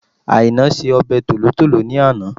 Àìná se ọbẹ̀ tòlótòló ní àná